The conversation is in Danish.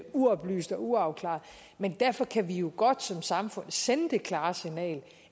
uoplyst eller uafklaret men derfor kan vi jo godt som samfund sende det klare signal